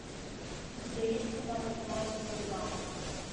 у тебя есть кино покемон сезон два